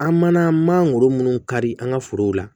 An mana mangoro munnu kari an ka forow la